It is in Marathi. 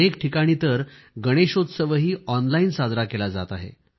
अनेक ठिकाणी तर गणेशोत्सवही ऑनलाइन साजरा केला जात आहे